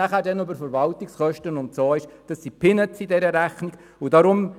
Allfällige Verwaltungskosten stellen «Peanuts» in dieser Rechnung dar.